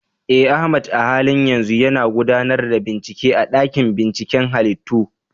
Eh, Ahmad a halin yanzu yana gudanar da bincike a dakin binciken halittu.